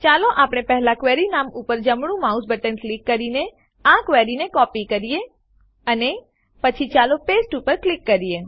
ચાલો આપણે પહેલા ક્વેરી નામ ઉપર જમણું માઉસ બટન ક્લિક કરીને આ ક્વેરીને કોપી કરીએ અને પછી ચાલો પાસ્તે ઉપર ક્લિક કરીએ